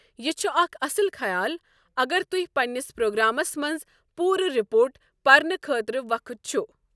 یہِ چھُ اکھ اصل خیال اگر تُۄہہِ پننِس پرٛوگرٛامِس منٛز پوٗرٕ رِپورٹ پرنہٕ خٲطرٕ وقت چھُ۔